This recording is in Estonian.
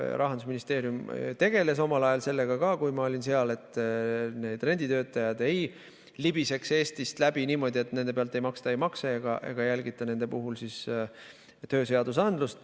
Rahandusministeerium tegeles omal ajal ka sellega, kui mina seal olin, et renditöötajad ei libiseks Eestist läbi niimoodi, et nende pealt ei maksta ei makse ega jälgita nende puhul tööseadusandlust.